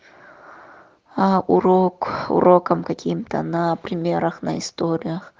а урок урокам каким-то на примерах на историях